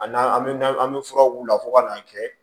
A n'an bɛ an bɛ fura k'u la fo ka n'a kɛ